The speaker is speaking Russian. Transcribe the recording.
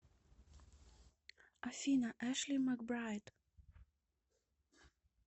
афина эшли макбрайд